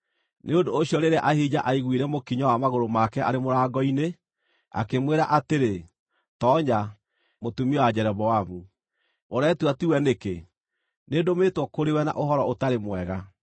Nĩ ũndũ ũcio rĩrĩa Ahija aaiguire mũkinyo wa magũrũ make arĩ mũrango-inĩ, akĩmwĩra atĩrĩ, “Toonya, mũtumia wa Jeroboamu. Ũretua tiwe nĩkĩ? Nĩndũmĩtwo kũrĩ we na ũhoro ũtarĩ mwega.